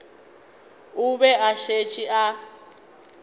o be a šetše a